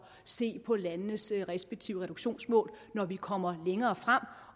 se på landenes respektive reduktionsmål når vi kommer længere frem